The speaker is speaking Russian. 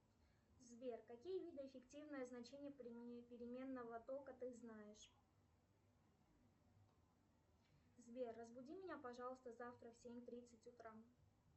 сбер какие виды эффективного значения переменного тока ты знаешь сбер разбуди меня пожалуйста завтра в семь тридцать утра